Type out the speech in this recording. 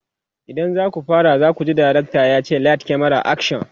idan zaku fara zakuji dirctor yace "light, camera, action!"